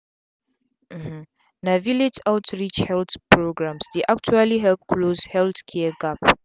uhmmna village outreach health programs dey actually help close healthcare gap.